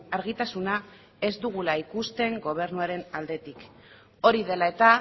argitasuna ez dugula ikusten gobernuaren aldetik hori dela eta